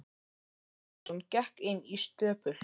Jón Arason gekk inn í stöpul.